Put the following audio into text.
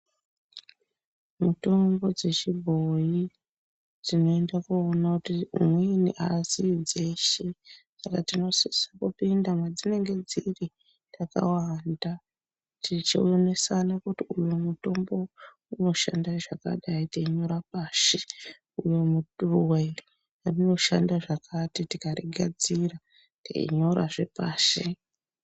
Mitombo dzechibhoyi unoenda kundoona kuti umweni azii dzeshe Saka unosisa kupinda madzinenge dziri takawanda tichionesana kuti uyu mutombo unoshanda zvakadai teinyora pashi uyu mutorwa unoshanda zvakati tikaugadzira teinyora hepashi.